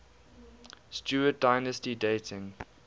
stuart dynasty dating